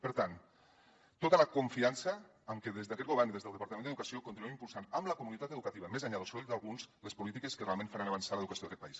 per tant tota la confiança amb que des d’aquest govern i des del departament d’educació continuem impulsant amb la comunitat educativa més enllà del soroll d’alguns les polítiques que realment faran avançar l’educació d’aquest país